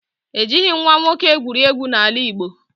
E jighị nwa nwoke egwuregwu n'ala Igbo